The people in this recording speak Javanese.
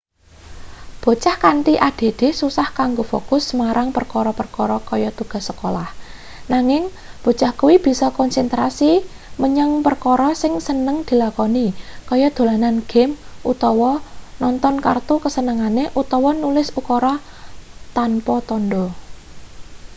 bocah kanthi add susah kanggo fokus marang perkara-perkara kaya tugas sekolah nanging bocah kuwi bisa konsentrasi menyang perkara sing seneng dilakoni kaya dolanan game utawa nonton kartun kasenengane utawa nulis ukara tanpa tandha